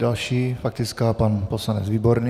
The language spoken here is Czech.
Další faktická, pan poslanec Výborný.